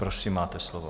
Prosím, máte slovo.